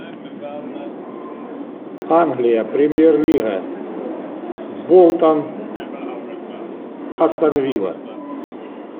англия премьер лига болтон астон вилла